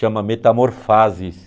Chama Metamorfases.